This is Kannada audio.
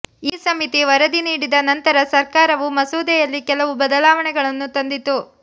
ಈ ಸಮಿತಿ ವರದಿ ನೀಡಿದ ನಂತರ ಸರ್ಕಾರವು ಮಸೂದೆಯಲ್ಲಿ ಕೆಲವು ಬದಲಾವಣೆಗಳನ್ನು ತಂದಿತು